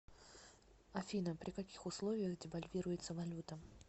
афина при каких условиях девальвируется валюта